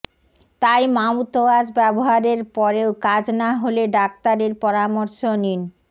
তাই মাউথওয়াশ ব্যবহারের পরেও কাজ না হলে ডাক্তারের পরামর্শ নিন